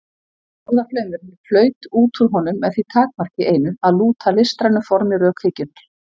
Orðaflaumurinn flaut út úr honum með því takmarki einu, að lúta listrænu formi rökhyggjunnar.